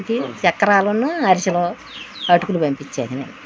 చక్రాలును అరుసులు అటుకులు పంపించారు.